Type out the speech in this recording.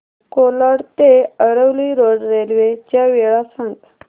कोलाड ते Aravali road railway च्या वेळा सांग